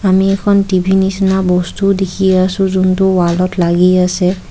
আমি এখন টি_ভি নিচিনা বস্তুও দেখি আছোঁ যোনটো ৱালত লাগি আছে।